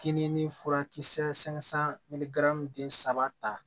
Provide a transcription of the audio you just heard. Kinin ni furakisɛ san den saba ta